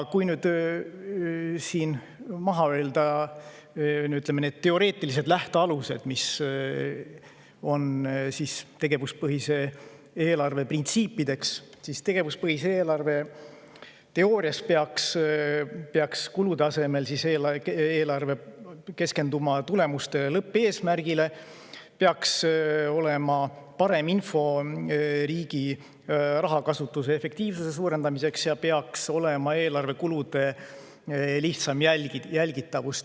Kui nüüd siin maha öelda need teoreetilised lähtealused, tegevuspõhise eelarve printsiibid, siis ütlen, et teoorias peaks tegevuspõhine eelarve kulude asemel keskenduma tulemustele ja lõppeesmärgile, seal peaks olema parem info riigi raha kasutuse efektiivsuse suurendamise kohta ning eelarve kulude lihtsam jälgitavus.